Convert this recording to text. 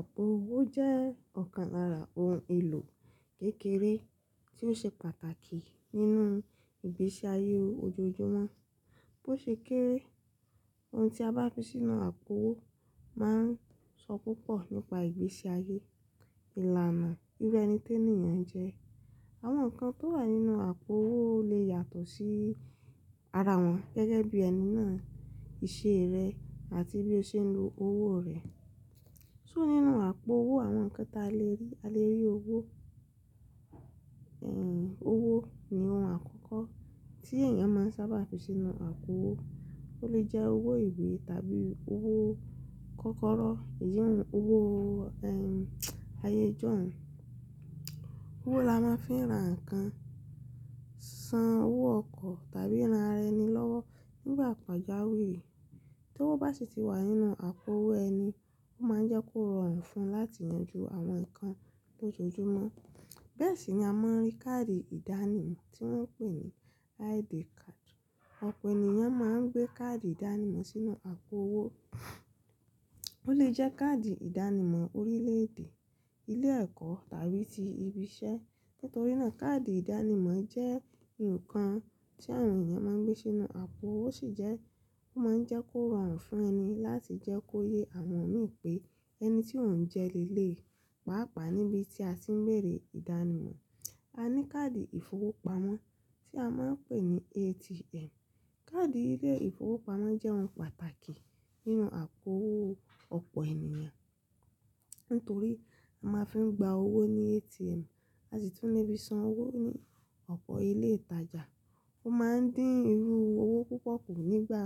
Àpò owó jẹ́ ọ̀kan lára ohun èlò kékeré tí ó ṣe pàtàkì nínú ìgbésí ayé ojoojúmọ́. Bó ṣe kéré, ohun tí a bá fi sínú àpò owó máa ń sọ púpọ̀ nípa ìgbésí ayé, ìlànà irú ẹni tí ènìyàn jẹ́. Àwọn nǹkan tó wà nínú àpò owó lè yàtọ̀ sí ara wọn gẹ́gẹ́ bí ẹni náà, ìṣe rẹ̀ àti bí ó ṣe ń lo owó rẹ̀. So nínú àpò owó àwọn nǹkan tí a lè rí, a lè rí owó, ẹ́hn n owó ni ohun àkọ́kọ́ tí ènìyàn máa ń sábà fi sínú àpò owó. Ó lè jẹ́ owó ìwé tàbí owó kọ́kọ́rọ́, eyi uh uh owó, ayéjọ́un. Owó la máa ń fi ra nǹkan, san owó ọkọ̀ tàbí ra ẹni lọ́wọ́ nígbà pàjáwìrì. Tí ówo bá sì ti wà nínú àpò owó ẹni, ó máa ń jẹ́ kó rọrùn fún un láti yanjú àwọn nǹkan lójoojúmọ́. Bẹ́ẹ̀ sì ni a máa ń rí káàdì ìdánimọ̀ tí wọ́n ń pè ní ID card. Ọ̀pọ̀ ènìyàn máa ń gbé káàdì ìdánimọ̀ sínú àpò owó. Ó lè jẹ́ káàdì ìdánimọ̀ orílẹ̀-èdè, ilé ẹ̀kọ́ tàbí ti ibi iṣẹ́. Nítorí náà káàdì ìdánimọ̀ jẹ́ nǹkan tí àwọn ènìyàn máa ń gbé sínú àpò owó o sì jẹ́, ó máa ń jẹ́ kó rọrùn fún ẹni láti jẹ́ kó yé àwọn mi pé ẹni tí ò ń jẹ le lé, pàápàá níbi tí a sì ń bẹ̀rẹ̀ ìdánimọ̀. A ní káàdì ìfowópamọ́ tí a máa ń pè ní ATM. Káàdì ilé ìfowópamọ́ jẹ́ ohun pàtàkì nínú àpò owó ọ̀pọ̀ ènìyàn. Nítorí a máa ń fi gba owó ní ATM àti tún le fi san owó ní ọ̀pọ̀ ilé ìtajà. Ó máa ń dín irú owó púpọ̀ kù nígbà,